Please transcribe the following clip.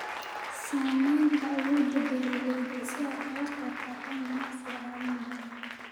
Saamaynta awoodda beeralayda si ay uga qayb qaataan ganacsiga caalamiga ah.